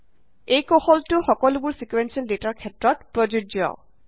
এই কৌশলটো সকলোবোৰ ছিকুৱেন্সিয়েল ডেটাৰ ক্ষেত্ৰত প্ৰযোজ্য